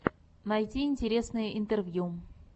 найти интересные интервью